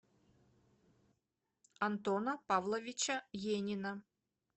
антона павловича енина